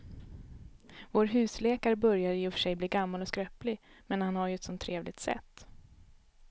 Vår husläkare börjar i och för sig bli gammal och skröplig, men han har ju ett sådant trevligt sätt!